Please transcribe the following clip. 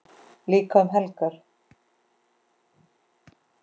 Líka um helgar.